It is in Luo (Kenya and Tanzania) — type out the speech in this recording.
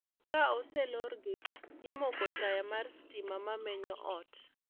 Ka oselor gi, imoko taya mar stima mamenyo ot